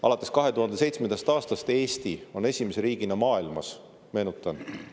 Alates 2007. aastast Eesti on esimese riigina maailmas – meenutan!